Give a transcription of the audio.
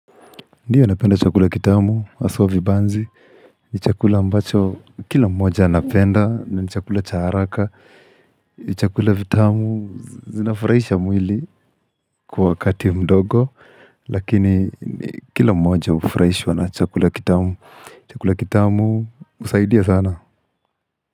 Mi huwa napenda chakula kitamu haswa vibanzi, ni chakula ambacho kila mmoja anapenda, ni chakula cha haraka, ni chakula vitamu zinafurahisha mwili. Kwa wakati mdogo lakini kila mmoja ufurahishwa na chakula kitamu. Chakula kitamu husaidia sana.